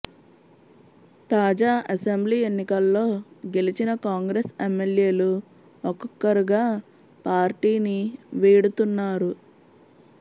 తాజా అసెంబ్లీ ఎన్నికల్లో గెలిచిన కాంగ్రెస్ ఎమ్మెల్యేలు ఒక్కరొక్కరుగా పార్టీని వీడుతున్నారు